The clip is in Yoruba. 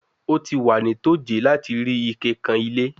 O ti wa ni toje lati ri ike kan ile